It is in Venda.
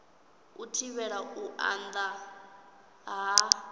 u thivhela u anda ha